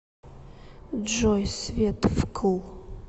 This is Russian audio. джой свет вкл